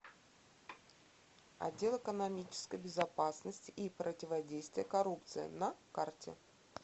отдел экономической безопасности и противодействия коррупции на карте